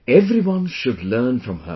Everyone should learn from her